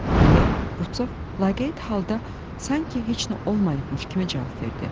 Deyə Rupsov laqeyd halda sanki heç nə olmayıbmış kimi cavab verdi.